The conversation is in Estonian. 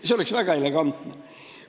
See oleks väga elegantne.